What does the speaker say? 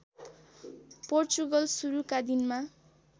पोर्चुगल सुरुका दिनमा